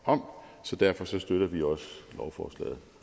om så derfor støtter vi også lovforslaget